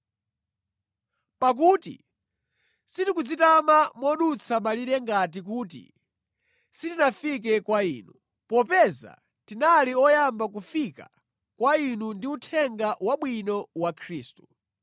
Pakuti sitikudzitama modutsa malire ngati kuti sitinafike kwa inu, popeza tinali oyamba kufika kwa inu ndi Uthenga Wabwino wa Khristu.